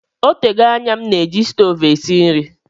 Ọ tego anya m na-eji stovu esi nri